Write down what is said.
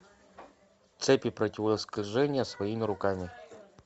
цепи противоскольжения своими руками